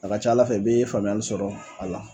A ka ca Ala fɛ i bee faamuyali sɔrɔ a la